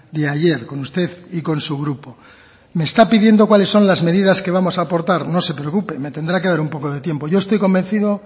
de ayer con usted y con su grupo me está pidiendo cuáles son las medidas que vamos a aportar no se preocupe me tendrá que dar un poco de tiempo yo estoy convencido